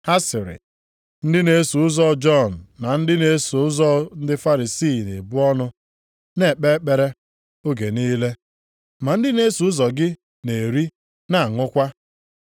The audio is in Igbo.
Ha sịrị, “Ndị na-eso ụzọ Jọn na ndị na-eso ụzọ ndị Farisii na-ebu ọnụ, na-ekpe ekpere oge niile, ma ndị na-eso ụzọ gị na-eri, na-aṅụkwa.”